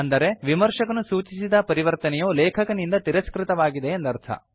ಅಂದರೆ ವಿಮರ್ಶಕನು ಸೂಚಿಸಿದ ಪರಿವರ್ತನೆಯು ಲೇಖಕನಿಂದ ತಿರಸ್ಕೃತವಾಗಿದೆ ಎಂದರ್ಥ